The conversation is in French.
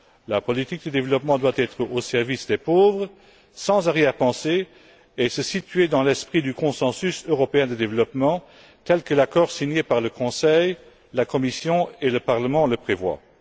La politique de développement doit être au service des pauvres, sans arrière pensée et s'inscrire dans l'esprit du consensus européen de développement, tel que l'accord signé par le Conseil, la Commission et le Parlement le prévoient.